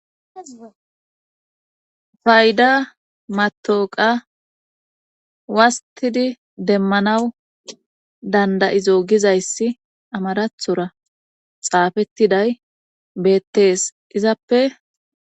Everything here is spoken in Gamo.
Fayda matooqa wastidi demmanaw danda7izo gizayssi amarathora xaafettiday beettees izappe.